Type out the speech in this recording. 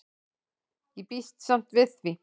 Ég býst samt við því.